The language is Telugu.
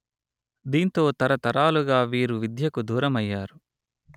దీంతో తరతరాలుగా వీరు విద్యకు దూరమయ్యారు